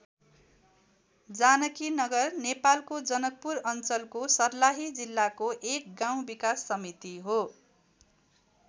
जानकीनगर नेपालको जनकपुर अञ्चलको सर्लाही जिल्लाको एक गाउँ विकास समिति हो।